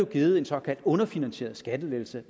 givet en såkaldt underfinansieret skattelettelse